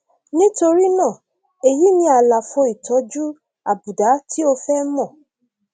nítorí náà èyí ni àlàfo ìtọjú àbùdá tí o fẹ mọ